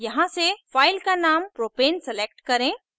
यहाँ से file का named प्रोपेन select करें